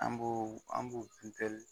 An b'o an b'o